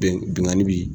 Bɛn binkani bi